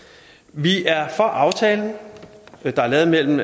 vi er for aftalen der er lavet mellem